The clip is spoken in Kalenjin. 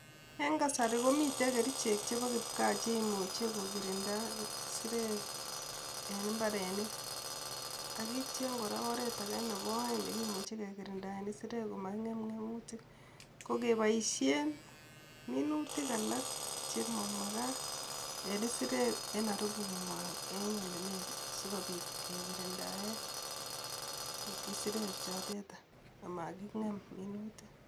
En kasari komiten kericheek chebo kipkaa cheimuche kokirinda isirek en imbarenik ak kityo kora oret age nebo oeng nekimuche kekirindaen isirek koma ngem ng emutik Ko keboisien minuutik alak chemamagaat en isireek en aribungwaa en ole negit sikobiit kekirindaen isirek choteta amakingem minuutik.